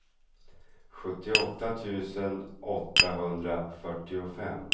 sjuttioåtta tusen åttahundrafyrtiofem